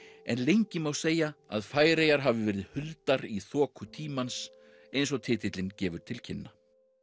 en lengi má segja að Færeyjar hafi verið huldar í þoku tímans eins og titillinn gefur til kynna